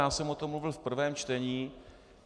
Já jsem o tom mluvil v prvém čtení.